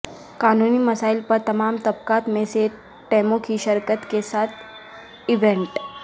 قانونی مسائل پر تمام طبقات میں سے ٹیموں کی شرکت کے ساتھ ایونٹ